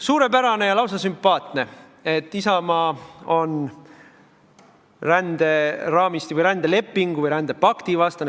Suurepärane ja lausa sümpaatne, et Isamaa on ränderaamistiku või rändelepingu või rändepakti vastane.